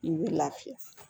I bɛ lafiya